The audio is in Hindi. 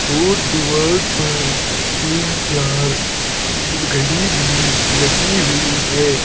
और दीवार पर तीन चार घड़ी भी लगी हुई है।